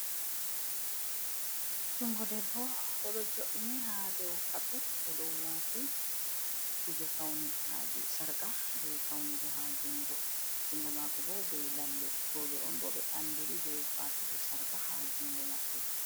Jungo debbo oɗo jo’ini ha dow kapet, odon wati kuje faune ha sarqa je faunugo, ha jungo mako bo be lalle, bo roɓe on ɓe andiri be watugo sarqa ha jungo maɓɓe.